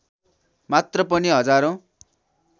मात्र पनि हजारौँ